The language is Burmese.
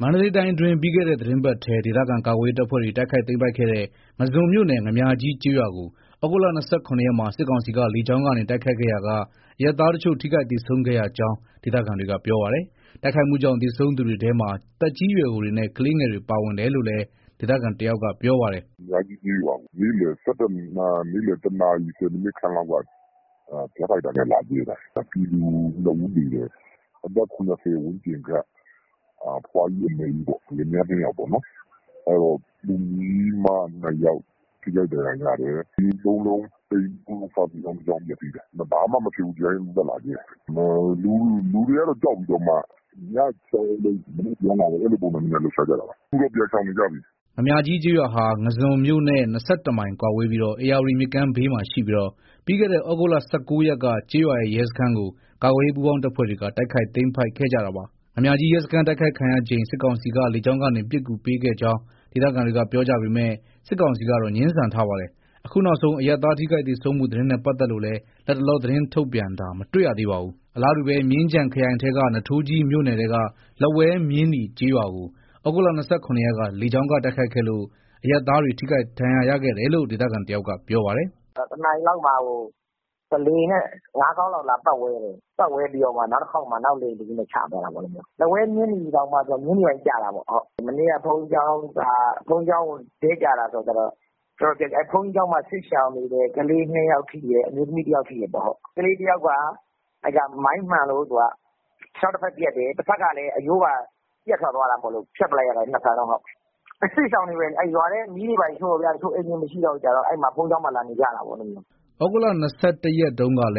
မန္တလေးတိုင်းအတွင်း ပြီးခဲ့တဲ့ သီတင်းပတ်ထဲ ဒေသခံ ကာကွယ်ရေး တပ်ဖွဲ့တွေ တိုက်ခိုက်သိမ်းပိုက်ခဲ့တဲ့ ငါန်းဇွန်မြို့နယ် ငါန်းမြာကြီးကျေးရွာကို သြဂုတ် ၂၇ ရက်မှာ စစ်ကောင်စီက လေကြောင်းကနေ တိုက်ခိုက်ခဲ့ရာက အရပ်သားတချို့ ထိခိုက်သေဆုံးခဲ့ရကြောင်း ဒေသခံတွေက ပြောပါတယ်။ တိုက်ခိုက်မှုကြောင့် သေဆုံးသူတွေထဲမှာ သက်ကြီးရွယ်အိုတွေနဲ့ ကလေးငယ်တွေ ပါဝင်တယ်လို့လည်း ဒေသခံတယောက်က ပြောပါတယ်။ "ငါန်းမြားကြီးကျေးရွာကို နေ့လည် ၁ နာရီခန့်လောက်က ဂျက်ဖိုက်တာနဲ့လာကြဲတာ။ ပြည်သူ ၂ ဦးသေတယ်။အသက် ၇၀ ဝန်းကျင်ခန့် အဖိုးဖွား ၂ ဦးပေါ့။ လင်မယား ၂ ယောက်။ ကလေးမ ၂ ယောက် ထိခိုက်ဒဏ်ရာရတယ်။ အိမ် ၃ လုံး စာသင်ကျောင်း ၁ ကျောင်း ပျက်စီးတယ်။ ဘာမှမဖြစ်ဘဲ ဒီတိုင်းသက်သက် လာကြဲတာ။ လူတွေက ကြောက်ပြီး ညပြန်သွား မနက်ပြန်လာ အဲ့လိုလုပ်တာပေါ့။ အခုတော့ အကုန်လုံးရှောင်နေပြီ။" ငါန်မြားကြီးကျေးရွာဟာ ငါန်းဇွန်မြို့နဲ့ ၂၁ မိုင်ကွာဝေးပြီး ဧရာဝတီမြစ်ဘေးမှာရှိပြီးတော့ ပြီးခဲ့တဲ့ သြဂုတ် ၁၉ ရက်က ကျေးရွာရဲ့ ရဲစခန်းကို ကာကွယ်ရေး ပူးပေါင်းတပ်ဖွဲ့တွေက တိုက်ခိုက်သိမ်းပိုက်ခဲ့ကြတာပါ။ ငါန်းမြားကြီးရဲစခန်း တိုက်ခိုက်ခံရချိန် စစ်ကောင်စီက လေကြောင်းကနေ ပစ်ကူပေးခဲ့ကြောင်း ဒေသခံတွေက ပြောကြပေမဲ့ စစ်ကောင်စီကတော့ ငြင်းဆန်ထားပါတယ်။ အခုနောက်ဆုံး အရပ်သား ထိခိုက်သေဆုံးမှု သတင်းနဲ့ ပတ်သက်လို့လည်း လတ်တလော သတင်းထုတ်ပြန်တာ မတွေ့ရသေးပါဘူး။ အလားတူပဲ မြင်းခြံခရိုင်ထဲက နွားထိုးကြီးမြို့နယ်ထဲက လက်ဝဲ-မြင်းနီ ကျေးရွာကို သြဂုတ် ၂၇ ရက်က လေကြောင်းက တိုက်ခိုက်ခဲ့လို့ အရပ်သားတွေ ထိခိုက်ဒဏ်ရာရခဲ့တယ်လို့ ဒေသခံတယောက်က ပြောပါတယ်။ "၁ နာရီလောက်မှာ လေယာဉ်နဲ့ ၅ ခေါက်လောက် လာပတ်ဝဲတယ်။ နောက်တခေါက်မှာ နောက်လေယာဉ်တစီးနဲ့ ချသွားတာပေါ့။ လက်ဝဲမြင်းနီတောင် မြင်းနီဘက်ကျတာပေါ့။ မနေ့က ဘုန်းကြီးကျောင်းအပေါ် ဒဲ့ကျတာဆိုတော့ ဘုန်းကြီးကျောင်း တော်တော်ပျက်စီးတယ်။ ဘုန်းကြီးကျောင်းမှာ စစ်ရှောင်နေတဲ့ ကလေး ၂ ယောက်ထိတယ်။ အမျိုးသမီး ၁ ယောက်ထိတယ်။ ကလေးတယောက်က မိုင်းမှန်လို့ ခြေထောက် တဖက်ပြတ်တယ်။ တဖက်ကလည်း အရိုးပါပြတ်ထွက်သွားတာမို့လို့ ၂ ဖက်လုံး ဖြတ်လိုက်ရတယ်။ အဲ့စစ်ရှောင်တွေပဲ ရွာထဲက အိမ်တွေ မီးရှို့ခံရတာတော့ အိမ်တွေမရှိတော့ ဘုန်းကြီးကျောင်းလာနေကြတာ။" သြဂုတ် ၂၁ ရက်ကလ